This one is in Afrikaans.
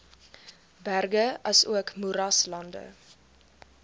berge asook moeraslande